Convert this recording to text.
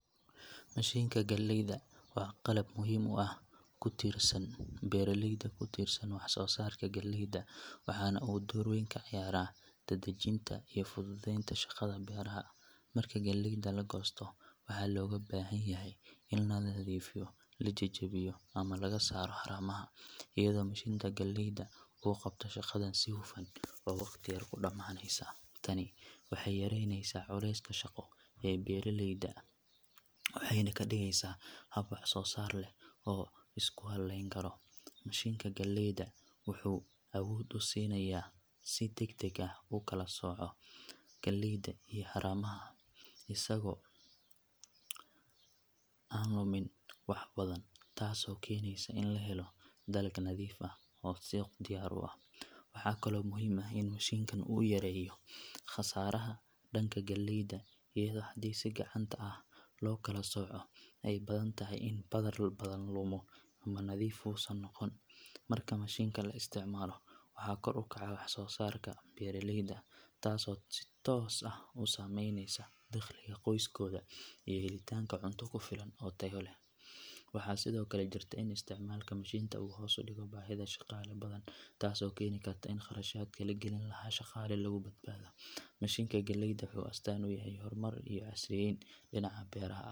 Meshinka galeydaa waa qalab muhiim u ah kutirsan beera leyda waxso sarka galeyda, dadajinta iyo fuduudenta shaqaada gar ahan marka galeyda lagosto in la nadhifiyo la jajawiyo laga sara waxa xun, tani waxee yareynesa shaqadha beera leyda waxena kadigeysa hab waxso sar leh oo ku haleyni karo, mishinka galeyda wuxuu sinaya si dag dag ah ukala soco isago an lumin wax wada ah tas oo keneysa in la helo dalag nadhiif ah, waxaa kalo muhiim u ah in u mishinka yareyo qasaraha galeyda ida oo hadii si fican lo kala soco keni karto si u nadhiif u noqoto, mashinka waxso sarka galeyda tos ah u sameynesa heli tanka cunto kufilan sithokale jarynesa in istimalka mashinka u hos udigmo, mishinka galeyda wuxuu asri uyahay wax halenta galeyda.